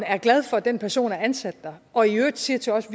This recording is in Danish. er glad for at den person er ansat der og i øvrigt siger til os